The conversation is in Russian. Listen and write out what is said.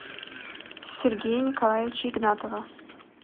сергея николаевича игнатова